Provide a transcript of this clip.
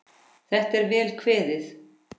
Þetta er vel kveðið.